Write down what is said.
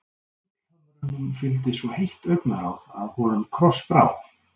Gullhömrunum fylgdi svo heitt augnaráð að honum krossbrá.